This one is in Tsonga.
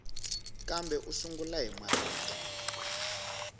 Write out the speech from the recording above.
kambe u sungula hi marito